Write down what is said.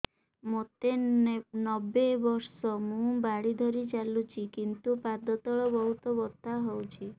ମୋତେ ନବେ ବର୍ଷ ମୁ ବାଡ଼ି ଧରି ଚାଲୁଚି କିନ୍ତୁ ପାଦ ତଳ ବହୁତ ବଥା ହଉଛି